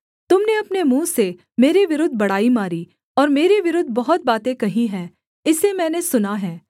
तुम ने अपने मुँह से मेरे विरुद्ध बड़ाई मारी और मेरे विरुद्ध बहुत बातें कही हैं इसे मैंने सुना है